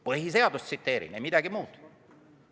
Põhiseadust tsiteerin, ei midagi muud.